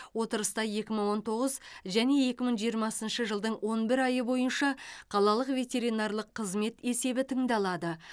отырыста екі мың он тоғыз және екі мың жиырмасыншы жылдың он бір айы бойынша қалалық ветеринарлық қызмет есебі тыңдалады